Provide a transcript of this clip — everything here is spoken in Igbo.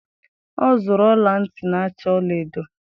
Ọ zụrụ ọla ntị na-acha ọla edo.